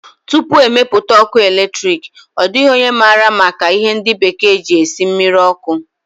Tupu e mepụta ọkụ eletriki, ọ dịghị onye maara maka ihe ndi bekee ji esi mmiri ọkụ